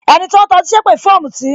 Ẹni tó ń ta ọtí sépè fún ọ̀mùtì